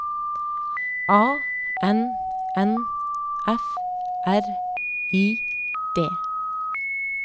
A N N F R I D